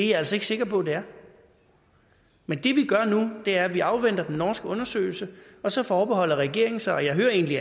jeg altså ikke sikker på det er men det vi gør nu er at vi afventer den norske undersøgelse og så forbeholder regeringen sig og jeg hører egentlig